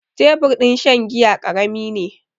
Tebur din shan giya ƙarami ne.